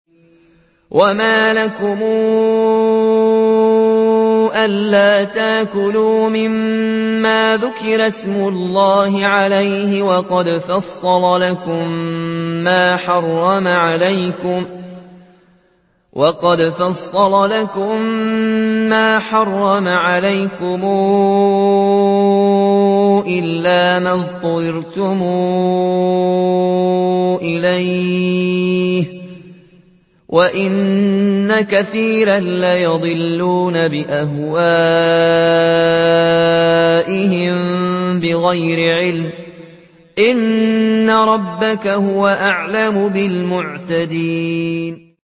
وَمَا لَكُمْ أَلَّا تَأْكُلُوا مِمَّا ذُكِرَ اسْمُ اللَّهِ عَلَيْهِ وَقَدْ فَصَّلَ لَكُم مَّا حَرَّمَ عَلَيْكُمْ إِلَّا مَا اضْطُرِرْتُمْ إِلَيْهِ ۗ وَإِنَّ كَثِيرًا لَّيُضِلُّونَ بِأَهْوَائِهِم بِغَيْرِ عِلْمٍ ۗ إِنَّ رَبَّكَ هُوَ أَعْلَمُ بِالْمُعْتَدِينَ